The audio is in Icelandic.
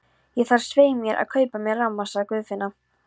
Ég þarf svei mér að kaupa mér ramma, sagði Guðfinna.